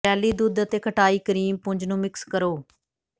jelly ਦੁੱਧ ਅਤੇ ਖਟਾਈ ਕਰੀਮ ਪੁੰਜ ਨੂੰ ਮਿਕਸ ਕਰੋ